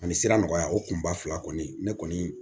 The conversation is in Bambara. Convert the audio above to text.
Ani sira nɔgɔya o kunba fila kɔni ne kɔni